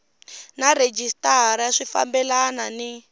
na rhejisitara swi fambelana ni